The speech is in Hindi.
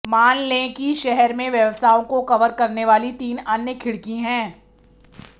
मान लें कि शहर में व्यवसायों को कवर करने वाली तीन अन्य खिड़की हैं